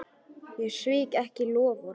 Ég svík ekki loforð.